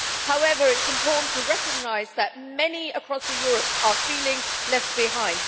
However, it is important to recognise that many across Europe are feeling left behind.